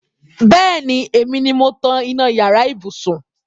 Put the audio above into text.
Bẹẹni, èmi ni mo tan iná yàrá ibùsùn